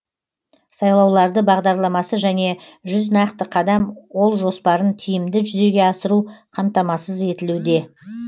сайлауларды бағдарламасы және жүз нақты қадам ол жоспарын тиімді жүзеге асыру қамтамасыз етілуде